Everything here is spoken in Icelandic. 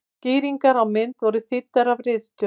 Skýringar á mynd voru þýddar af ritstjórn.